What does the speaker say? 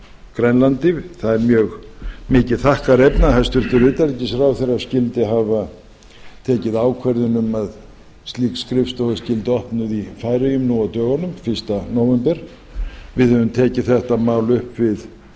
grænlandi það er mjög mikið þakkarefni að hæstvirtur utanríkisráðherra skyldi hafa tekið ákvörðun um að slík skrifstofa skyldi opnuð í færeyjum nú á dögunum fyrsta nóvember við höfum tekið þetta mál upp við